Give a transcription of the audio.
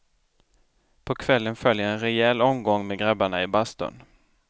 På kvällen följer en rejäl omgång med grabbarna i bastun.